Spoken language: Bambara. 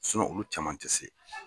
olu caman ti se